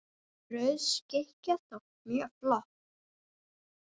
Rauð skikkja þótti mjög flott.